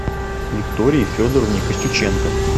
виктории федоровне костюченко